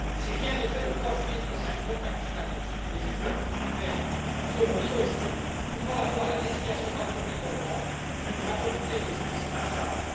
Si rien n'est fait, le 3 juillet prochain, une bonne partie des juges de la Cour suprême seront limogés, ouvrant la voie à la désignation par le gouvernement d'une majorité de juges à sa main.